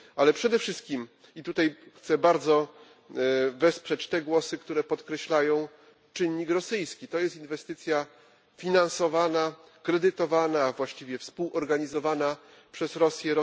Ale przede wszystkim i tutaj chcę bardzo wesprzeć te głosy, które podkreślają czynnik rosyjski to jest inwestycja finansowana, kredytowana, a właściwie współorganizowana przez Rosję.